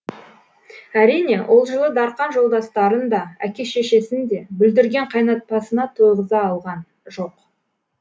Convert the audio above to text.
әрине ол жылы дарқан жолдастарын да әке шешесін де бүлдірген қайнатпасына тойғыза алған жоқ